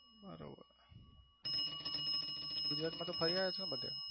બરોબર ગુજરાત માં તો ફરી આવિયા હસો ને બધે?